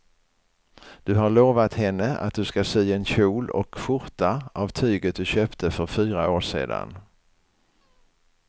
Du har lovat henne att du ska sy en kjol och skjorta av tyget du köpte för fyra år sedan.